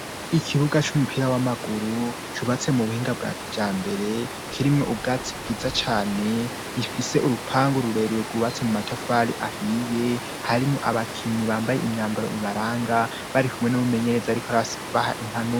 Ikibuga c'umupira w'amaguru cubatse mu buhinga bwa kiyambere, kirimwo ubwatsi bwiza cane. Rifise urupangu rurerure rwubatse mu matafari ahiye. Harimwo abakinyi bambaye imyambaro ibaranga barikumwe n'umumenyereza ariko abaha impanuro.